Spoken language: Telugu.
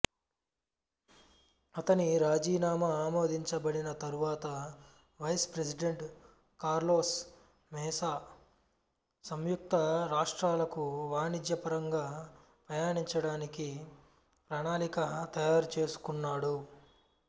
అతని రాజీనామా ఆమోదించబడిన తరువాత వైస్ ప్రెసిడెంట్ కార్లోస్ మేసా సంయుక్త రాష్ట్రాలకు వాణిజ్యపరంగా పయనించడానికి ప్రణాళిక తయారుచేసుకున్నాడు